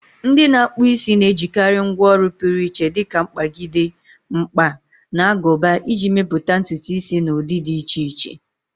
Ndị na-akpụ isi na-ejikarị ngwá ọrụ pụrụ iche dika mkpagide, mkpa, na aguba iji mepụta ntutu isi na ụdị dị iche iche.